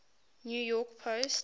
new york post